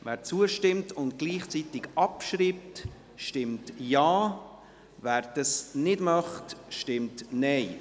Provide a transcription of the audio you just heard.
Wer zustimmt und gleichzeitig abschreibt, stimmt Ja, wer dies nicht möchte, stimmt Nein.